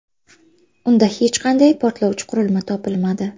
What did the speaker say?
Unda hech qanday portlovchi qurilma topilmadi.